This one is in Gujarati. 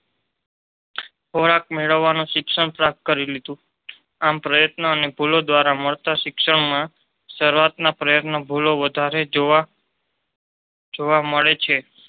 ખોરાક મેળવવાનો શિક્ષણ પ્રાપ્ત કરી લીધું આમ પ્રયત્ન અને ભૂલો દ્વારા માલ્ટા શિક્ષણ માં શરૂઆતના પ્રયત્નો ભૂલો વધારે જોવા મળે છે.